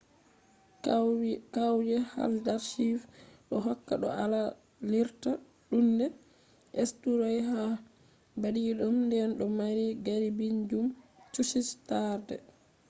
kauye haldarsvik do hokka no alarirta duunde eysturoy ha baadidum nden do mari garibiijum churchi taarde